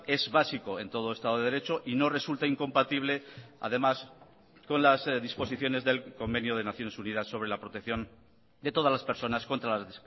es básico en todo estado de derecho y no resulta incompatible además con las disposiciones del convenio de naciones unidas sobre la protección de todas las personas contra las